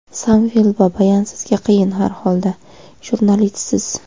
Samvel Babayan: Sizga qiyin har holda, jurnalistsiz.